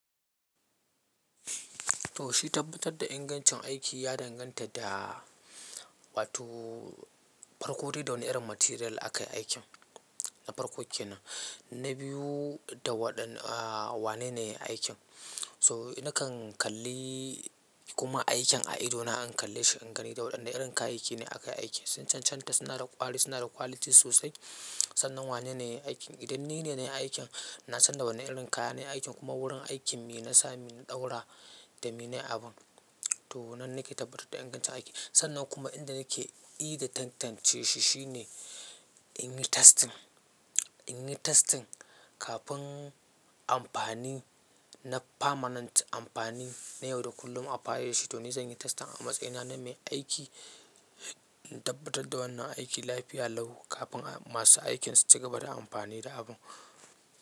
To shi tabbatar da ingancin aiki ya danganta da wato farko da wani irin material aka yi aikin. Na farko kenan, na biyu da waɗannn Wane ne ya yi aikin? So nakan kalli kuma aikin a idona in kalle shi in gani da waɗanda irin kayayyaki ne aka yi aikin. Sun cancanta suna da ƙwari, suna da quality sosai. Sannan wane ne ya yi aikin? Idan ni ne na yi aikin, na san da wane irin kaya ne na yi aikin kuma wurin aikin me na sa me na ɗaura da me nayi abun. To nan nake tabbatar da ingancin aiki. Sannan kuma inda nake yi da tantance shi shine in yi testing, in yi testing kafin amfani na permanent amfani na yau da kullum a fahimci. To ni zan yi testing a matsayina na mai aiki, in tabbatar da wannan aiki lafiya lau kafin masu aikin su ci gaba da amfani da abun.